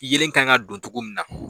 Yelen kan ka don togo min na